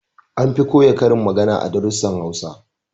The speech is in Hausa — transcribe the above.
An fi koya karin magana a darussan Hausa